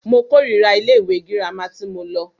Mo kòrira ilé ìwé gírámà tí mo lọ.